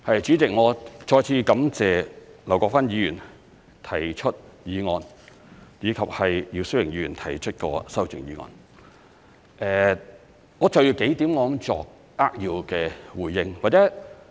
主席，我再次感謝劉國勳議員提出議案，以及姚思榮議員提出的修正案，我就着幾點作扼要的回應。